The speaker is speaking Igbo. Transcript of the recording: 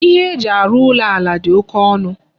Ihe eji arụ ụlọ ala dị oké ọnụ.